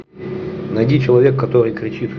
найди человека который кричит